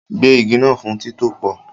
Gbẹ́ igi náà fún títòpò